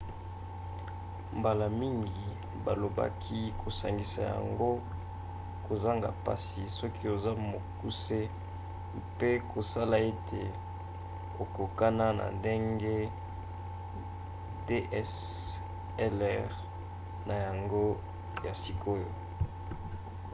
mbala mingi bakoki kosangisa yango kozanga mpasi soki oza mokuse mpe kosala ete ekokona na ndenge dslr na yango ya sikoyo